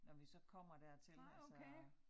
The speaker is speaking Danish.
Når vi så kommer dertil altså